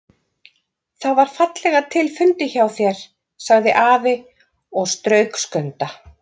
Það var fallega til fundið hjá þér, sagði afi og strauk Skunda.